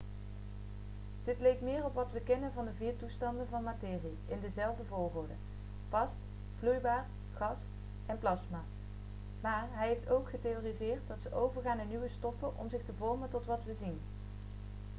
dit leek meer op wat we kennen van de vier toestanden van materie in dezelfde volgorde: vast vloeibaar gas en plasma maar hij heeft ook getheoretiseerd dat ze overgaan in nieuwe stoffen om zich te vormen tot wat we zien